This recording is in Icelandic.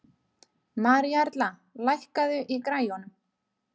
Maríuerla, lækkaðu í græjunum.